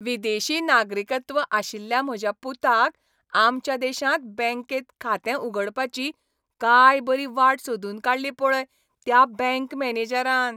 विदेशी नागरिकत्व आशिल्ल्या म्हज्या पुताक आमच्या देशांत बँकेंत खातें उगडपाची काय बरी वाट सोदून काडली पळय त्या बँक मॅनेजरान.